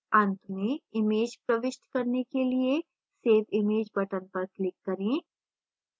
अन्त में image प्रविष्ट करने के लिए save image button पर click करें